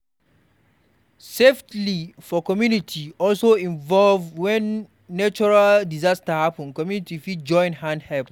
Safely for community also involve when natural disaster happen, community fit join hand help